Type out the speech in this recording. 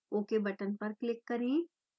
ok button पर click करें